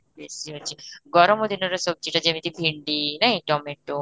ବେଶୀ ଅଛି, ଗର୍ମ ଦିନ ରେ ସବଜି ଯେମିତି ଭେଣ୍ଡି ନାଇଁ, ଟମାଟୋ